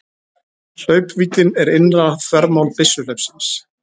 Hlaupvíddin er innra þvermál byssuhlaupsins.